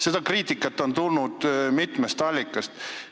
Seda kriitikat on tulnud mitmest allikast.